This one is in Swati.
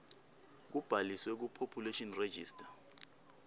kubhaliswe kupopulation register